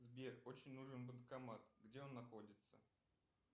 сбер очень нужен банкомат где он находится